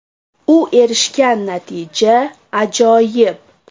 U erishgan natija − ajoyib.